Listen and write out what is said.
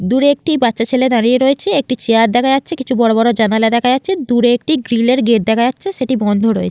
দূরে একটি বাচ্চা ছেলে দাঁড়িয়ে রয়েছে |একটি চেয়ার দেখা যাচ্ছে কিছু বড়বড় জানালা দেখা যাচ্ছে |দূরে একটি গ্রিল -এর গেট দেখা যাচ্ছে সেটি বন্ধ রয়েছে।